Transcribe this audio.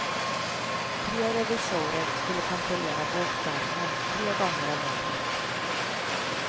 Tre revisorer skulle kontrollera bokföringen tre gånger om året.